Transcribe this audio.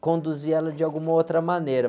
conduzir ela de alguma outra maneira.